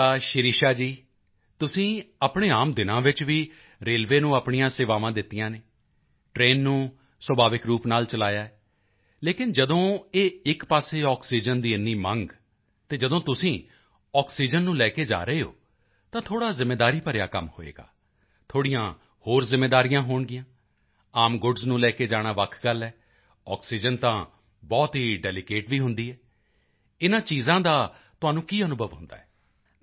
ਅੱਛਾ ਸ਼ਿਰਿਸ਼ਾ ਜੀ ਤੁਸੀਂ ਆਪਣੇ ਆਮ ਦਿਨਾਂ ਵਿੱਚ ਵੀ ਰੇਲਵੇ ਨੂੰ ਆਪਣੀਆਂ ਸੇਵਾਵਾਂ ਦਿੱਤੀਆਂ ਹਨ ਟ੍ਰੇਨ ਨੂੰ ਸੁਭਾਵਿਕ ਰੂਪ ਨਾਲ ਚਲਾਇਆ ਹੈ ਲੇਕਿਨ ਜਦੋਂ ਇਹ ਇੱਕ ਪਾਸੇ ਆਕਸੀਜਨ ਦੀ ਏਨੀ ਮੰਗ ਅਤੇ ਜਦੋਂ ਤੁਸੀਂ ਆਕਸੀਜਨ ਨੂੰ ਲੈ ਕੇ ਜਾ ਰਹੇ ਹੋ ਤਾਂ ਥੋੜ੍ਹਾ ਜ਼ਿੰਮੇਵਾਰੀ ਭਰਿਆ ਕੰਮ ਹੋਵੇਗਾ ਥੋੜ੍ਹੀਆਂ ਹੋਰ ਜ਼ਿੰਮੇਵਾਰੀਆਂ ਹੋਣਗੀਆਂਆਮ ਗੁੱਡਸ ਨੂੰ ਲੈ ਕੇ ਜਾਣਾ ਵੱਖ ਗੱਲ ਹੈ ਆਕਸੀਜਨ ਤਾਂ ਬਹੁਤ ਹੀ ਡੈਲੀਕੇਟ ਵੀ ਹੁੰਦੀ ਹੈ ਇਹ ਚੀਜ਼ਾਂ ਦਾ ਤੁਹਾਨੂੰ ਕੀ ਅਨੁਭਵ ਹੁੰਦਾ ਹੈ